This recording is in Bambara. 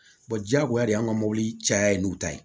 diyagoya de y'an ka mobili caya yen n'u ta ye